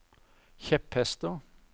kjepphester